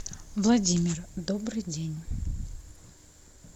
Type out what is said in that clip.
владимир добрый день